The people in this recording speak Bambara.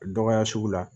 Dɔgɔya sugu la